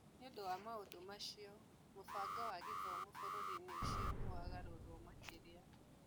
Nĩ ũndũ wa maũndũ macio, mũbango wa gĩthomo bũrũri-inĩ ũcio nĩ wagarũririo makĩria.